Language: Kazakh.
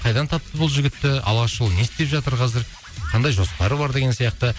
қайдан тапты бұл жігітті алашұлы не істеп жатыр қазір қандай жоспары бар деген сияқты